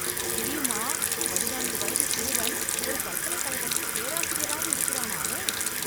தெரியுமா, பதினான்கு வயதுச் சிறுவன், ஒரு பல்கலைக் கழகத்தில் பேராசிரியராக இருக்கிறானாமே...